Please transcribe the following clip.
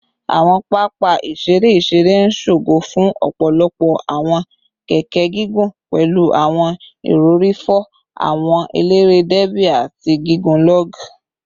Awọn papa iṣere iṣere n ṣogo fun ọpọlọpọ awọn keke gigun, pẹlu awọn irọri fo, awọn elere derby, ati awọn gigun log